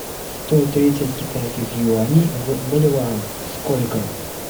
сто тридцать китайских юаней в боливарах сколько